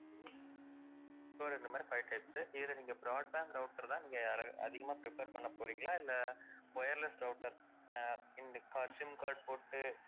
so இந்த மாதிரி five types உ இதுல நீங்க broadband router தான், நீங்க அதிகமா prefer பண்ண போறிங்களா இல்ல wireless router ஆஹ் sim card போட்டு